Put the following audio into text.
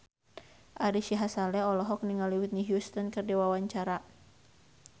Ari Sihasale olohok ningali Whitney Houston keur diwawancara